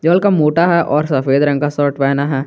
जो हल्का मोटा है और सफेद रंग का शर्ट पहना है।